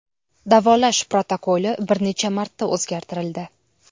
Davolash protokoli bir necha marta o‘zgartirildi.